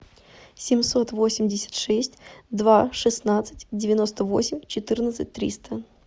семьсот восемьдесят шесть два шестнадцать девяносто восемь четырнадцать триста